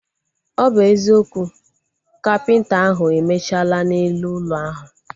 Ọ bụ eziokwu, kapịnta ahu emechala na elu ụlọ ahu